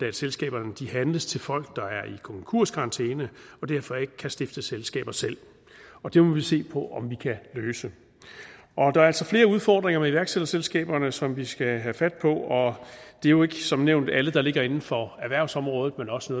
at selskaberne handles til folk der er i konkurskarantæne og derfor ikke kan stifte selskaber selv det må vi se på om vi kan løse der er altså flere udfordringer med iværksætterselskaberne som vi skal have fat på og det er jo som nævnt ikke alle der ligger inden for erhvervsområdet men også